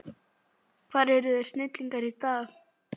Hvar eru þeir snillingar í dag?